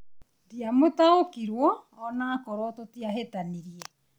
ndiamũtaũkirwo onakorwo tũtiahitanirie